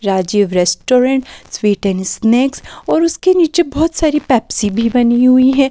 Rajiv restaurant sweet and snacks और उसके नीचे बहुत सारी पेप्सी भी बनी हुई है।